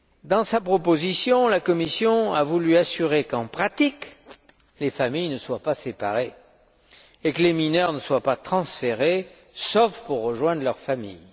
Dans sa proposition, la Commission a voulu assurer qu'en pratique, les familles ne soient pas séparées et que les mineurs ne soient pas transférés, si ce n'est pour rejoindre leur famille.